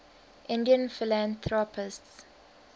indian philanthropists